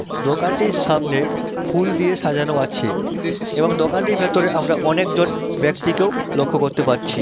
দোকানটির সামনে ফুল দিয়ে সাজানো আছে এবং দোকানটির ভেতরে আমরা অনেকজন ব্যক্তিকেও লক্ষ্য করতে পারছি।